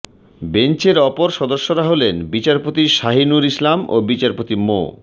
বেঞ্চের অপর সদস্যরা হলেন বিচারপতি শাহীনুর ইসলাম ও বিচারপতি মো